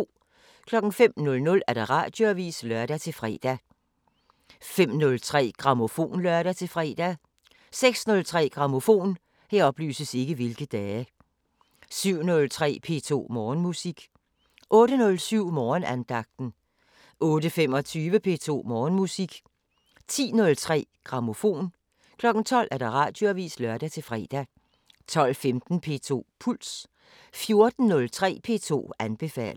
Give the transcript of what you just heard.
05:00: Radioavisen (lør-fre) 05:03: Grammofon (lør-fre) 06:03: Grammofon 07:03: P2 Morgenmusik 08:07: Morgenandagten 08:25: P2 Morgenmusik 10:03: Grammofon 12:00: Radioavisen (lør-fre) 12:15: P2 Puls 14:03: P2 anbefaler